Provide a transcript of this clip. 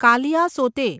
Kaliasote